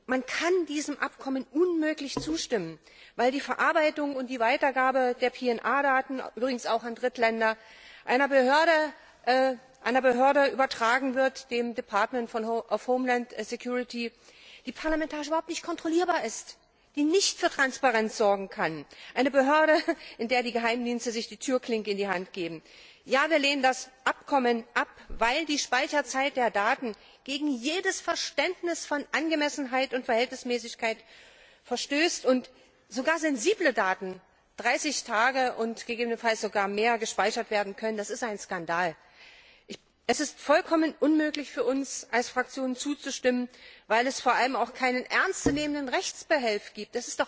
Man kann diesem Abkommen unmöglich zustimmen, weil die Verarbeitung und die Weitergabe der PNR Daten, übrigens auch an Drittländer, einer Behörde, dem Department of Homeland Security übertragen wird, die parlamentarisch überhaupt nicht kontrollierbar ist, die nicht für Transparenz sorgen kann, einer Behörde, in der die Geheimdienste sich die Türklinke in die Hand geben. Wir lehnen das Abkommen ab, weil die Speicherzeit der Daten gegen jedes Verständnis von Angemessenheit und Verhältnismäßigkeit verstößt, und sogar sensible Daten 30 Tage und gegebenenfalls sogar länger gespeichert werden können. Das ist ein Skandal! Es ist für uns als Fraktion vollkommen unmöglich zuzustimmen, weil es vor allem auch keinen ernstzunehmenden Rechtsbehelf gibt.